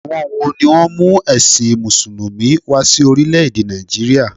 Àwon wo ni ó mú èsìn mùsùlùmí wa sí orílé èdè Nàìjíríà?